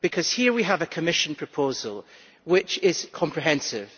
Here we have a Commission proposal which is comprehensive.